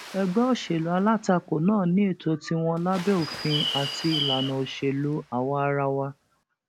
ẹgbẹ òṣèlú alátakò náà ní ètò tiwọn lábẹ òfin àti ìlànà òṣèlú àwaarawa